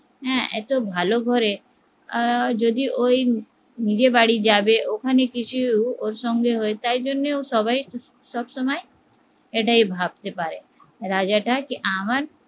হ্যা এতো ভালো ঘরে আহ যদি ওই নিজের বাড়ি যাবে ওখানে কিছু ওর সঙ্গে হয় তাই জন্য ও সবাই সবসময় এটাই ভাবতে পারে যে রাজাটা আমার